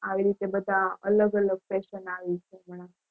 આ રીતે બધી અલગ અલગ Fashion આવી છે હમણાં